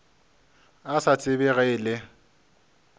a sa tsebe ge e